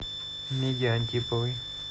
миге антиповой